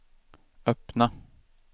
öppna